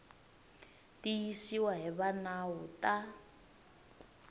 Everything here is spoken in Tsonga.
tiyisiwa hi va nawu ta